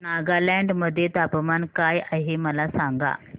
नागालँड मध्ये तापमान काय आहे मला सांगा